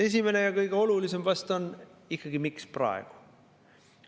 Esimene ja kõige olulisem vast on ikkagi, miks praegu.